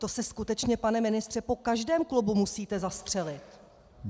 To se skutečně, pane ministře, po každém klubu musíte zastřelit.